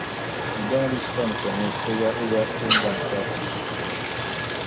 e don reach time for news oya oya change am fast